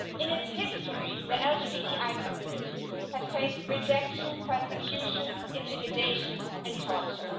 In its history, the LGBTI community has faced rejection, persecution, intimidation and torture.